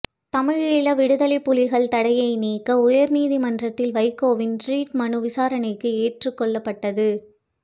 தமிழ் ஈழ விடுதலைப் புலிகள் தடையை நீக்க உயர்நீதிமன்றத்தில் வைகோவின் ரிட்மனு விசாரணைக்கு ஏற்றுக்கொள்ளப்பட்டது